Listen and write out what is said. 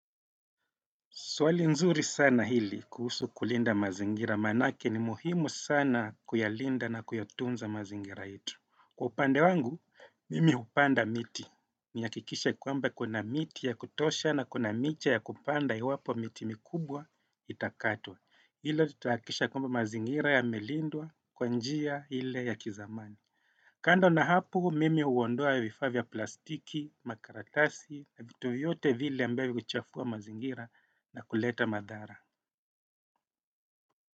Swali nzuri sana hili kuhusu kulinda mazingira maanake ni muhimu sana kuyalinda na kuyatunza mazingira yetu. Kwa upande wangu, mimi hupanda miti. Nihakikishe kwamba kuna miti ya kutosha na kuna miti ya kupanda iwapo miti mikubwa itakatwa. Hilo tutahakikisha kwamba mazingira yamelindwa kwa njia ile ya kizamani. Kando na hapo, mimi huondoa vifaa vya plastiki, makaratasi na vitu vyote vile ambayo huchafua mazingira na kuleta madhara.